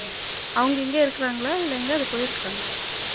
அவங்க இங்க இருக்குறாங்களா இல்ல எங்கயாவது போய் இருக்காங்களா